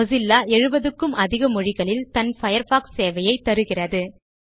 Mozilla 70க்கும் அதிக மொழிகளில் தன் பயர்ஃபாக்ஸ் சேவைகளை தருகிறது